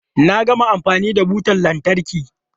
Na gama amfani da butan lantarkin.